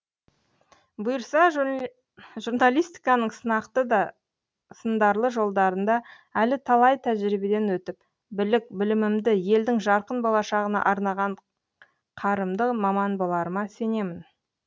бұйырса журналистиканың сынақты да сындарлы жолдарында әлі талай тәжірибеден өтіп білік білімімді елдің жарқын болашағына арнаған қарымды маман боларыма сенемін